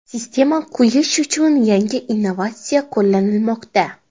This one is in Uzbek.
Sistema quyish uchun yangi innovatsiya qo‘llanilmoqda.